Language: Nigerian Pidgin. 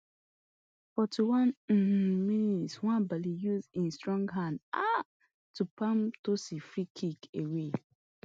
forty-one um mins nwabali use e strong hands um to palm tosin freekick away